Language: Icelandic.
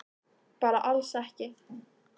Bara alls ekki.